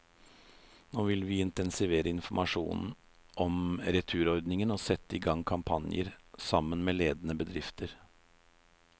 Nå vil vi intensivere informasjonen om returordningen og sette i gang kampanjer, sammen med ledende bedrifter.